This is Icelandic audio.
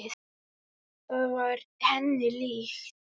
Það var henni líkt.